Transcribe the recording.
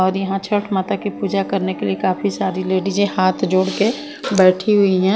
और यहां छठ माता की पूजा करने के लिए काफी सारी लेडिजें हाथ जोड़ के बैठी हुई है।